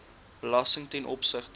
belasting ten opsigte